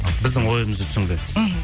біздің ойымызды түсінген мхм